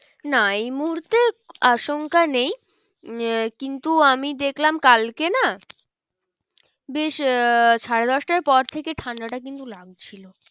না এই মুহূর্তে আসংখ্যা নেই উম কিন্তু আমি দেখলাম কালকে না বেশ আহ সাড়ে দশটার পর থেকে ঠান্ডাটা কিন্তু লাগছিল।